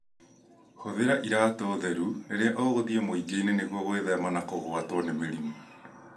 Hũthĩra iratũ theru rĩrĩa ũgũthĩi mwingĩinĩ nĩguo gwithema na kũgwatio mĩriimũ.